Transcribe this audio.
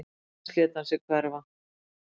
Því næst lét hann sig hverfa